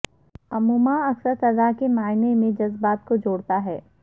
عموما اکثر سزا کے معنی میں جذبات کو جوڑتا ہے